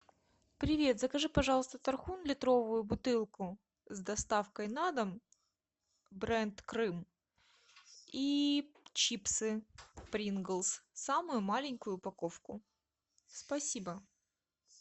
привет закажи пожалуйста тархун литровую бутылку с доставкой на дом бренд крым и чипсы принглс самую маленькую упаковку спасибо